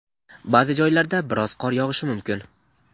ba’zi joylarda biroz qor yog‘ishi mumkin.